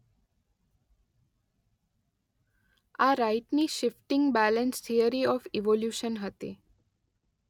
આ રાઈટની shifting balance theory of evolution હતી.